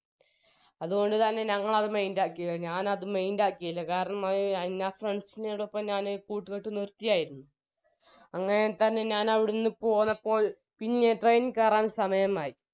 അത്കൊണ്ട് തന്നെ ഞങ്ങളത് mind ആക്കിയില്ല ഞാനത് mind ആക്കിയില്ല കാരണം എൻറെ friends നോടൊപ്പം ഞാന് കൂട്ട്കെട്ട് നിർത്തിയായിരുന്നു അങ്ങനെ തന്നെ ഞാനവിടുന്ന് പോന്നപ്പോൾ പിന്നെ train കേറാൻ സമയമായി